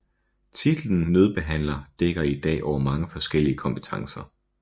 Titlen nødbehandler dækker i dag over mange forskellige kompetencer